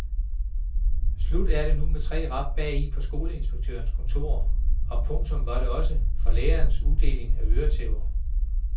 Slut var det nu med tre rap bagi på skoleinspektørens kontor, og punktum var det også for lærernes uddeling af øretæver.